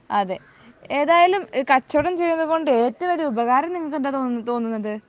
അതെ. ഏതായാലും കച്ചവടം ചെയ്യുന്നത് കൊണ്ട് ഏറ്റവും വലിയ ഉപകാരം നിങ്ങക്ക് എന്താ തോന്നുന്നത്